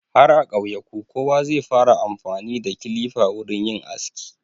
Har a ƙauyuka kowa zai fara amfani da kilifa wurin yin aski.